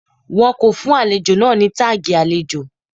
Wọn kò fún àlejò náà ní táàgì àlejò.